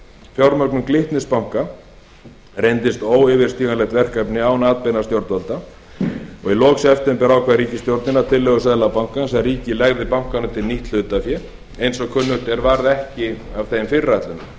fjármögnun glitnis banka reyndist óyfirstíganlegt verkefni án atbeina stjórnvalda í lok september ákvað ríkisstjórnin að tillögu seðlabankans að ríkið legði bankanum til nýtt hlutafé eins og kunnugt er varð ekki af þeim fyrirætlunum um